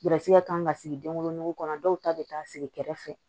Garisigɛ kan ka sigi den wolonugu kɔnɔ dɔw ta be taa sigi kɛrɛfɛ